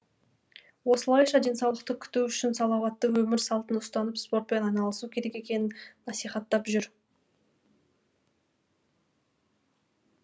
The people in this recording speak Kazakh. осылайша денсаулықты күту үшін салауатты өмір салтын ұстанып спортпен айналысу керек екенін насихаттап жүр